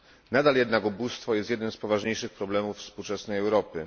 Nadal jednak ubóstwo jest jednym z poważniejszych problemów współczesnej Europy.